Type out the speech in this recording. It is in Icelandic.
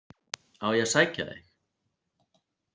Á ég að sækja þig?